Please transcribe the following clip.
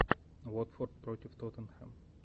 уотфорд против тоттенхэм